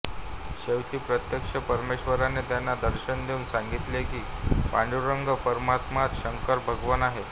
शेवटी प्रत्यक्ष परमेश्वराने त्यांना दर्शन देऊन सांगितले की पांडुरंग परमात्माच शंकर भगवान आहे